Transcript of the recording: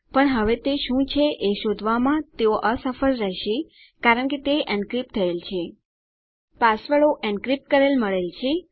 પણ હવે તે શું છે એ શોધવામાં તેઓ અસફળ રહેશે કારણ કે તે એન્ક્રિપ્ટ થયેલ છે